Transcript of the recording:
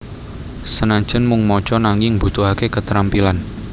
Senajan mung maca nanging mbutuhake ketrampilan